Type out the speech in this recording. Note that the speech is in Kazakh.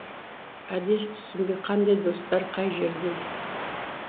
әдес түсінбей қандай достар қай жерден